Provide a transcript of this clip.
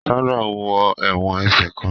Sandra wọ èwòn ẹsẹ kán